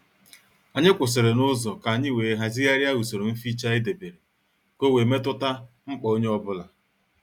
Anyị kwụsịrị n'uzo ka anyị wee hazigharia usoro mficha edebere ka ọ wee metuta mkpa onye ọ bụla